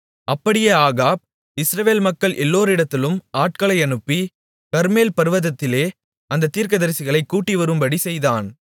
அப்படியே ஆகாப் இஸ்ரவேல் மக்கள் எல்லோரிடத்திலும் ஆட்களை அனுப்பி கர்மேல் பர்வதத்திலே அந்தத் தீர்க்கதரிசிகளைக் கூடிவரும்படி செய்தான்